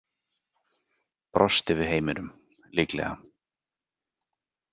Brosti við heiminum, líklega.